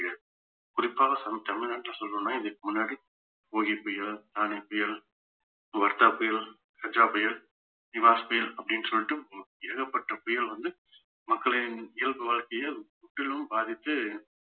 குறிப்பாக நம் தமிழ்நாட்டுல சொல்லணும்ன்னா இதுக்கு முன்னாடி ஒகி புயல் தானே புயல் வர்தா புயல் கஜா புயல் நிவாஸ் புயல் அப்பிடின்னு சொல்லிட்டு ஓ~ ஏகப்பட்ட புயல் வந்து மக்களின் இயல்பு வாழ்க்கையில் முற்றிலும் பாதித்து